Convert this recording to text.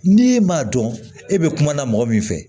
N'e m'a dɔn e bɛ kuma na mɔgɔ min fɛ